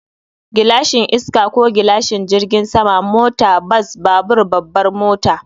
Gilashin iska ko gilashin jirgin sama, mota, bas, babur, babbar mota.